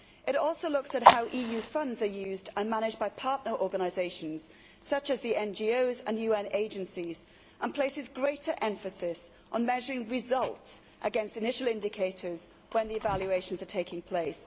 It also looks at how EU funds are used and managed by partner organisations such as the NGOs and UN agencies, and places greater emphasis on measuring results against initial indicators when the evaluations are taking place.